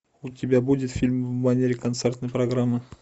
у тебя будет фильм в манере концертной программы